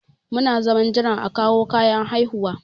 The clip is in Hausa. Muna zaman jiran a kawo kayan haihuwan.